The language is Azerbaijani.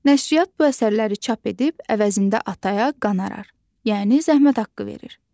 Nəşriyyat bu əsərləri çap edib əvəzində ataya qonorar, yəni zəhmət haqqı verir.